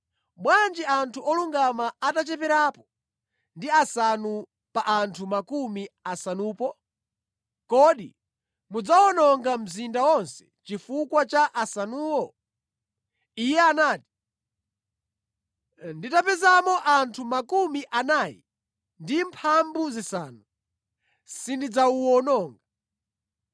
bwanji anthu olungama atacheperapo ndi asanu pa anthu makumi asanu? Kodi mudzawononga mzinda wonse chifukwa cha asanuwo?” Iye anati, “Nditapezamo anthu 45, sindidzawuwononga.”